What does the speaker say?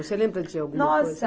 Você lembra de alguma coisa? Nossa